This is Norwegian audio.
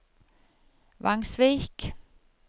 Vangsvik